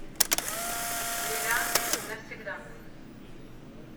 бриллианты навсегда